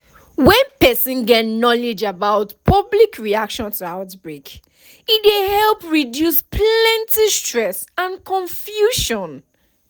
when person get knowledge about public reaction to outbreak e dey help reduce plenty stress and confusion